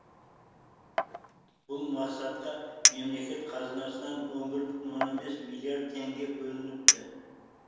бұл мақсатқа мемлекет қазынасынан он бір бүтін оннан бес миллиард теңге бөлініпті